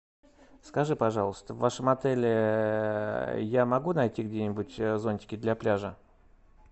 скажи пожалуйста в вашем отеле я могу найти где нибудь зонтики для пляжа